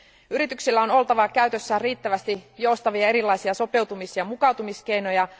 Yrityksillä on oltava käytössään riittävästi joustavia erilaisia sopeutumis ja mukautumiskeinoja.